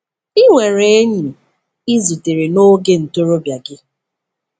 Ị nwere “enyi” ị zutere n'oge ntorobịa gị.